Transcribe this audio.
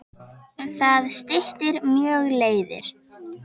Það styttir mjög leiðir.